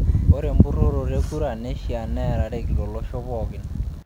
Ore empuroroto e kura neishaa neerareki tolosho pookin.